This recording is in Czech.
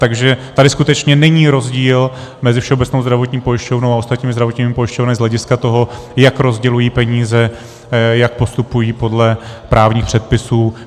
Takže tady skutečně není rozdíl mezi Všeobecnou zdravotní pojišťovnou a ostatními zdravotními pojišťovnami z hlediska toho, jak rozdělují peníze, jak postupují podle právních předpisů.